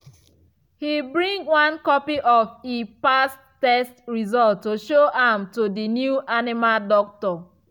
he bring one copy of e past test result to show am to the new animal doctor